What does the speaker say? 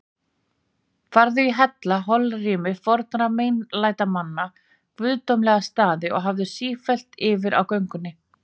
Farðu í hellana, holrými fornra meinlætamanna, guðdómlega staði, og hafðu sífellt yfir á göngunni